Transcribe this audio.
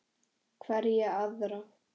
Hverja aðra?